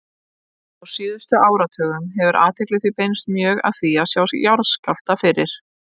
Á síðustu áratugum hefur athygli því beinst mjög að því að sjá jarðskjálfta fyrir.